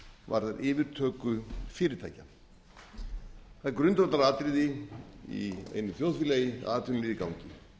varðar yfirtöku fyrirtækja það er grundvallaratriði í einu þjóðfélagi að atvinnulífið gangi